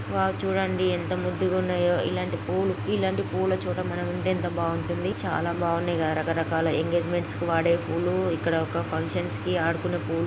Wow చూడండి ఎంత ముద్దుగా ఉన్నాయో. ఇలాంటి పూలు ఇలాంటి పూల తొట్ట మనం ఉంటే ఎంత బాగుంటుంది. చాలా బాగున్నాయి. కథ రకరకాల ఎంగేజ్మెంట్స్ కి వాడే పూలు.ఇక్కడ ఒక ఫంక్షన్స్ వాడుకునే పూలు